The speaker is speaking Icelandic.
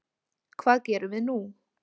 Hvað gerum við nú